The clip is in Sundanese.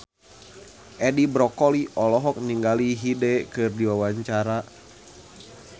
Edi Brokoli olohok ningali Hyde keur diwawancara